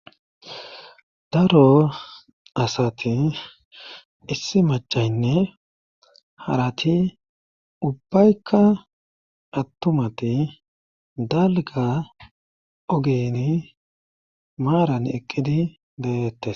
Daro asati issi machaynne harati ubbaykka attumati dalga ogini maaran eqqidi deyettes.